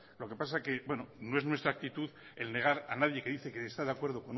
lo que pasa es que no es nuestra actitud el negar a nadie que dice que está de acuerdo